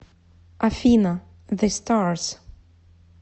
афина зэ старс